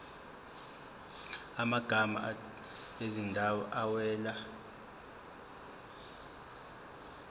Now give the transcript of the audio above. amagama ezindawo awela